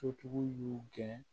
Sotigiw y'u gɛn